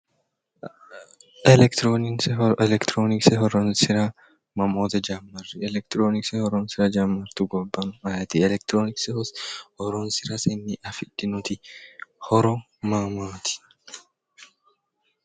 Elekitironikise:-Elekitironikise horoonssira mamootte jammari elekitironikise horoonssira jamaritu gobba aayitti elekitironikise hosoonssirasenni afidhinnotti horo maa maati